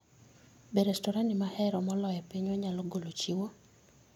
Be restorani ma ahero moloyo e pinywa nyalo golo chiwo?